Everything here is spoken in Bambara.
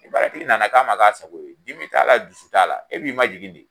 Ni baaratihgi nana k'a ma k'a sago ye, dimi t'a la, dusu t'a la, e b'i ma jigin de.